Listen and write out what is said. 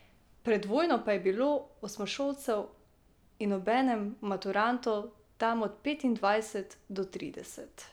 Pred vojno pa je bilo osmošolcev in obenem maturantov tam od petindvajset do trideset.